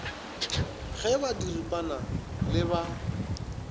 ge ba diripana le ba